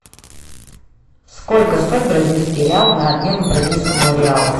сколько стоит бразильский реал на обмен к бразильскому реалу